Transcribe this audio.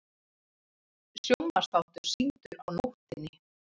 Sjónvarpsþáttur sýndur á nóttinni